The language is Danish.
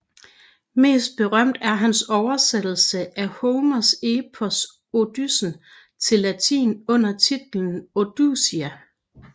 Mest berømt er hans oversættelse af Homers epos Odysseen til latin under titlen Odusia